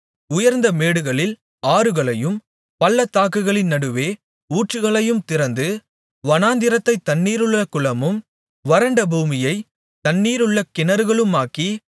உயர்ந்த மேடுகளில் ஆறுகளையும் பள்ளத்தாக்குகளின் நடுவே ஊற்றுகளையும் திறந்து வனாந்திரத்தைத் தண்ணீருள்ள குளமும் வறண்ட பூமியை தண்ணீருள்ள கிணறுகளுமாக்கி